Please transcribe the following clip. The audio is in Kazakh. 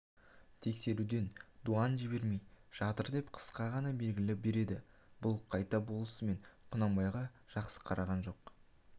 тексеруден дуан жібермей жатыр деп қысқа ғана белгі береді бұл қайта болысымен құнанбайға жақсы қараған жоқ